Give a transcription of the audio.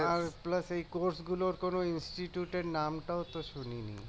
আর এই গুলোর কোন এর নাম টাও তো শুনিনি